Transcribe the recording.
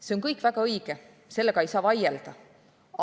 See kõik on väga õige, selle vastu ei saa vaielda.